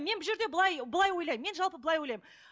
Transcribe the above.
мен бұл жерде былай былай ойлаймын мен жалпы былай ойлаймын